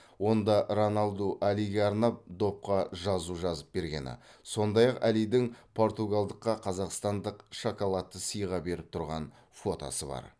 онда роналду алиге арнап допқа жазу жазып бергені сондай ақ әлидің португалдыққа қазақстандық шоколадты сыйға беріп тұрған фотосы бар